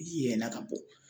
ka bɔ